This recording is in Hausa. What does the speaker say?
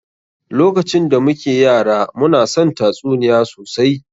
Lokacin da muke yara, mu na son tatsuniya sosai.